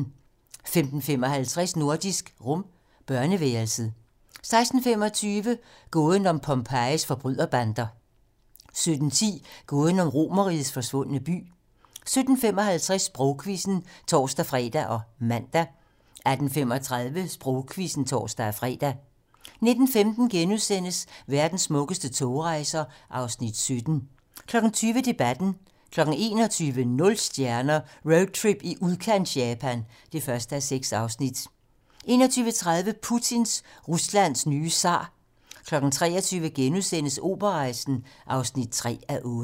15:55: Nordisk Rum - børneværelset 16:25: Gåden om Pompejis forbryderbander 17:10: Gåden om Romerrigets forsvundne by 17:55: Sprogquizzen (tor-fre og man) 18:35: Sprogquizzen (tor-fre) 19:15: Verdens smukkeste togrejser (Afs. 17)* 20:00: Debatten 21:00: Nul stjerner - Roadtrip i udkants-Japan (1:6) 21:30: Putin - Ruslands nye zar 23:00: Operarejsen (3:8)*